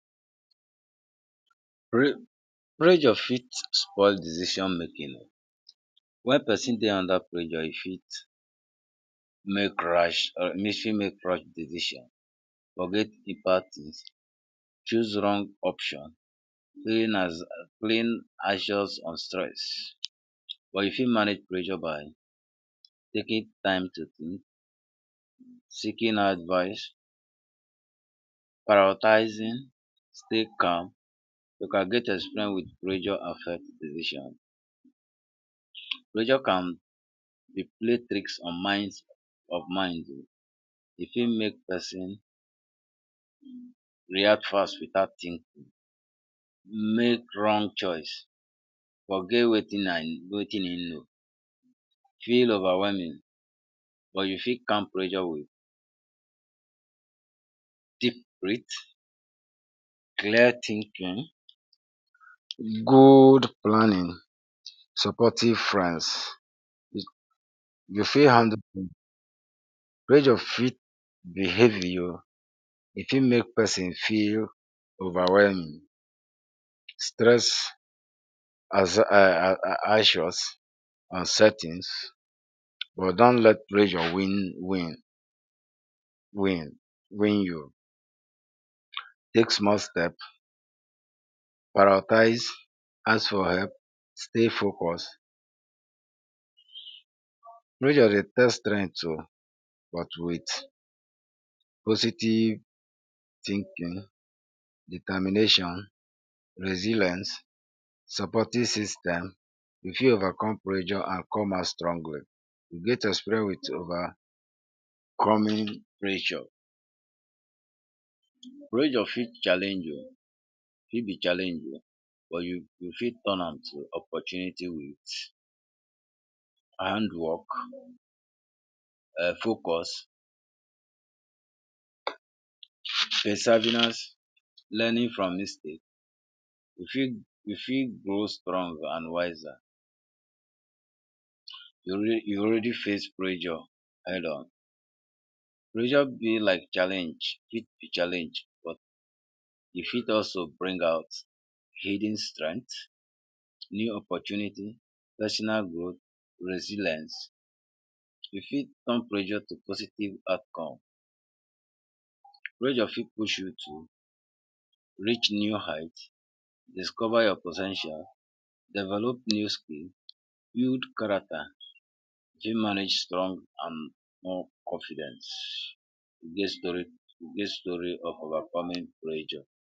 Pressure fit spoil decision making wen person dey under pressure e fit make rash e fit make rash decision forget d bad tins choose wrong option clean anxious on stress but you fit manage pressure by taking time to, seeking advice. prioritizing, stay calm you can get experience with pressure affect decision pressure can be play tricks on minds mind e fit make person react fast without think make wrong choice, forget wetin I wetin hin know, feel over whelming but u fit calm pressure wit deep brit, clear thinking, good planning supportive friends you fit handle, pressure fit b heavy o e fit make person feel over whelming stress anxious and settings but don’t let pressure win win win win you take small steps prioritize, ask for help, stay focus pressure dey test strength o but with OCD thinking, determination, resilence, supportive system you fit overcome pressure and come out strongly get experience with overcoming pressure, pressure fit challenge o e fit be challenge o but u go fit turn am to opportunity with hand work um Focus peservenance, Learning from mistakes you fit you fit grow strong and wiser you al you already face pressure headon, pressure be like challenge e fit be challenge but you fit also bring out hidden strength, new opportunity, personal growth and resilience, u fit turn pressure to positive outcome pressure fit push you to reach new height, discover your po ten tial, develop new skill build character fit manage strong and more confident get story get story of overcoming pressure.